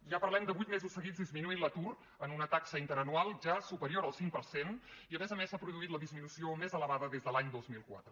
ja parlem de vuit mesos seguits en què ha disminuït l’atur en una taxa interanual ja superior al cinc per cent i a més a més s’ha produït la disminució més elevada des de l’any dos mil quatre